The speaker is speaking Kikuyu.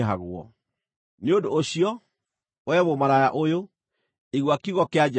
“ ‘Nĩ ũndũ ũcio, wee mũmaraya ũyũ, igua kiugo kĩa Jehova!